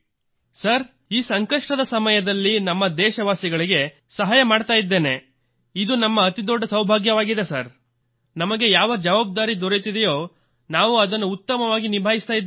sir ಈ ಸಂಕಷ್ಟದ ಸಮಯದಲ್ಲಿ ನಮ್ಮ ದೇಶವಾಸಿಗಳಿಗೆ ಸಹಾಯ ಮಾಡುತ್ತಿದ್ದೇನೆ ಇದು ನಮ್ಮ ಅತಿದೊಡ್ಡ ಸೌಭಾಗ್ಯವಾಗಿದೆ ಸರ್ ಮತ್ತು ನಮಗೆ ಯಾವ ಅಭಿಯಾನ ದೊರೆತಿದೆಯೋ ಅದನ್ನು ನಾವು ಉತ್ತಮವಾಗಿ ನಿಭಾಯಿಸುತ್ತಿದ್ದೇವೆ